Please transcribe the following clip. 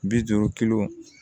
Bi duuru kilo